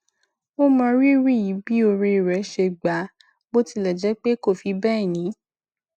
ó mọrírì bí òré rẹ ṣe gbà á bó tilẹ jẹ pé kò fi bẹẹ ní